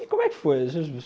E como é que foi?.